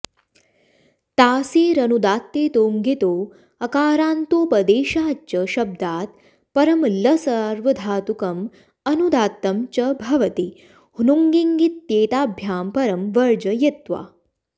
तासेरनुदात्तेतो ङितो ऽकारान्तोपदेशाच् च शब्दात् परं लसार्वधातुकम् अनुदात्तं च भवति ह्नुङिङित्येताभ्यां परं वर्जयित्वा